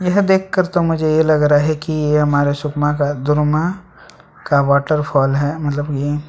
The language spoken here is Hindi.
एहा देखकर तो मुझे यह लग रहा है कि ये हमारे सुकमा का दुर्मा का वाटरफॉल है मतलब ये--